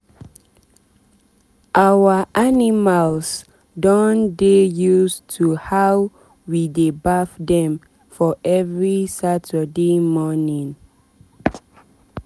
our animals don dey use to how we dey bath dem for every saturday morning.